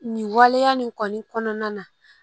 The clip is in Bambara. Nin waleya nin kɔni kɔnɔna na